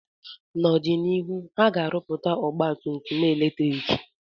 N'ọdịnihu, ha ga-arụpụta ọgba tum tum eletriki